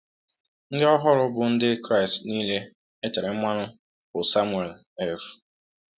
Ndị ọhụrụ, bụ ndị Kraịst niile e tere mmanụ, bụ Samuel F.